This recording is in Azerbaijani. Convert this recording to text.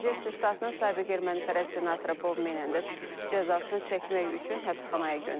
New Jersey ştatının sabiq ermənipərəst senatoru Bob Menendez cəzasını çəkmək üçün həbsxanaya göndərilib.